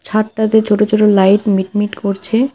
ছাদটাতে ছোট ছোট লাইট মিটমিট করছে।